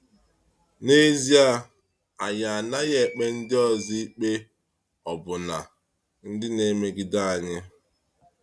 N’ezie, anyị anaghị ekpe ndị ọzọ ikpe, ọbụna ndị na-emegide anyị.